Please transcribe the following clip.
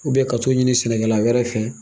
ka t'o ɲini sɛnɛkɛla wɛrɛ fɛ